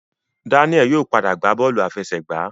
Daniel yóò pàdà gba bọọlu àfẹsẹ̀gbá.